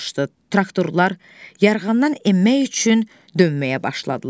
Traktorlar yarğandan enmək üçün dönməyə başladılar.